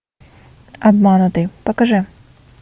обманутый покажи